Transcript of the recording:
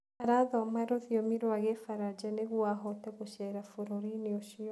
Arathoma rũthiomi rwa Kĩbaranja nĩguo ahote gũceera bũrũri-inĩ ũcio.